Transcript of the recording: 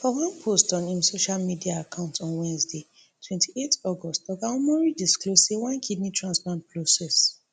for one post on im social media account on wednesday twenty-eight august oga omori disclose say one kidney transplant process